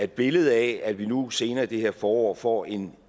billedet af at vi nu senere i det her forår får en